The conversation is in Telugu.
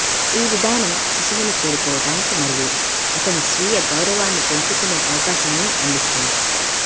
ఈ విధానం శిశువును చేరుకోవటానికి మరియు అతని స్వీయ గౌరవాన్ని పెంచుకునే అవకాశాన్ని అందిస్తుంది